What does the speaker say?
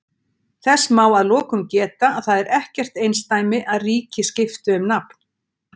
Þess má að lokum geta að það er ekkert einsdæmi að ríki skipti um nafn.